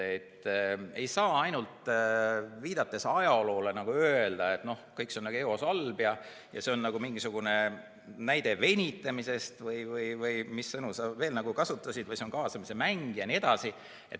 Ei saa ainult ajaloole viidates öelda, et kõik on juba eos halb ja see on nagu mingisugune näide venitamise kohta, või mis sõnu sa kasutasid, et see on kaasamise mängimine jne.